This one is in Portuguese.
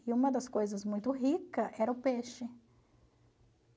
E uma das coisas muito rica era o peixe.